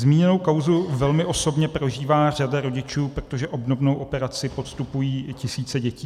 Zmíněnou kauzu velmi osobně prožívá řada rodičů, protože obdobnou operaci podstupují i tisíce dětí.